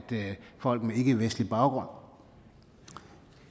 folk med ikkevestlig baggrund